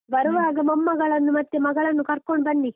ಬರುವಾಗ ಮೊಮ್ಮಗಳನ್ನು ಮತ್ತೆ ಮಗಳನ್ನು ಕರ್ಕೊಂಡು ಬನ್ನಿ.